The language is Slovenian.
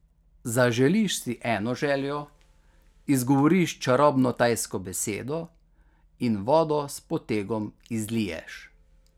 Zaželiš si eno željo, izgovoriš čarobno tajsko besedo in vodo s potegom izliješ.